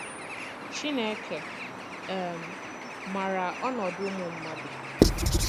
CHINEKE um màrà ọnọdụ ùmụ̀ mmàdù..